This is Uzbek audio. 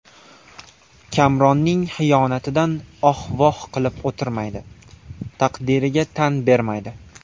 Kamronning xiyonatidan oh-voh qilib o‘tirmaydi, taqdirga tan bermaydi.